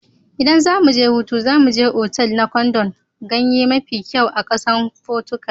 ldan zamu je hutu, za mu je otal na kwandon ganye mafi kyau a kasan Portugal.